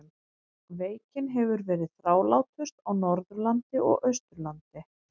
Veikin hefur verið þrálátust á Norðurlandi og Austurlandi.